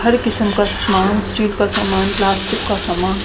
हर किसीम का सामान स्ट्रीट का समना प्लास्टिक का समान --